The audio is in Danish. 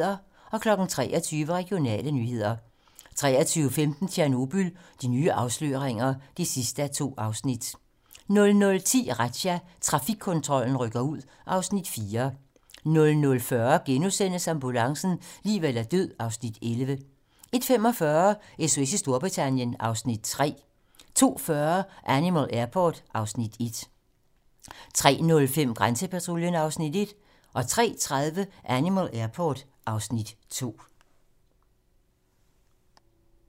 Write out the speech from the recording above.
23:00: Regionale nyheder 23:15: Tjernobyl - de nye afsløringer (2:2) 00:10: Razzia - Trafikkontrollen rykker ud (Afs. 4) 00:40: Ambulancen - liv eller død (Afs. 11)* 01:45: SOS i Storbritannien (Afs. 3) 02:40: Animal Airport (Afs. 1) 03:05: Grænsepatruljen (Afs. 1) 03:30: Animal Airport (Afs. 2)